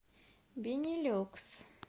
бенилюкс